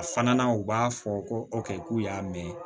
A fana u b'a fɔ ko ɔkɛ k'u y'a mɛn